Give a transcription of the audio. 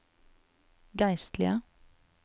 geistlige